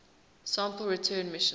sample return missions